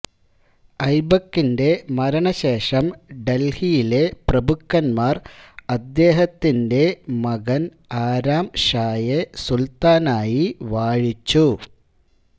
ഐബകിന്റെ മരണശേഷം ദൽഹിയിലെ പ്രഭുക്കന്മാർ അദ്ദേഹത്തിന്റെ മകൻ ആരാം ഷായെ സുൽത്താനായി വാഴിച്ചു